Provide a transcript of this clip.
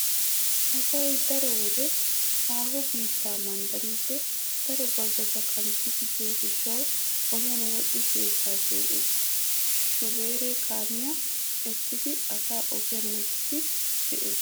Asay daroto wode haaho biittaa manddariiddi daro bazzota kanttidi biyo gishshawu ogiyan wodhdhidi sheeshshaa shee'ees. Shubeere kaamiya essidi asaa ogiyan wottiiddi de'ees.